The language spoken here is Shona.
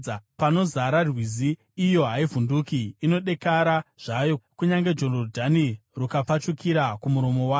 Panozara rwizi, iyo haivhunduki; inodekara zvayo, kunyange Jorodhani rukapfachukira kumuromo wayo.